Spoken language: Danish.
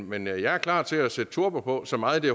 men jeg jeg er klar til at sætte turbo på så meget